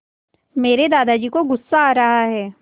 मेरे दादाजी को गुस्सा आ रहा है